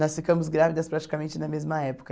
Nós ficamos grávidas praticamente na mesma época.